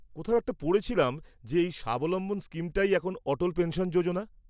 কোথাও একটা পড়েছিলাম যে এই স্বাবলম্বন স্কিমটাই এখন অটল পেনশন যোজনা?